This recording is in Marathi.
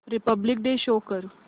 रिपब्लिक डे शो कर